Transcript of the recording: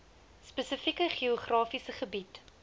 spesifieke geografiese gebied